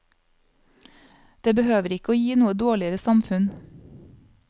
Det behøver ikke å gi noe dårligere samfunn.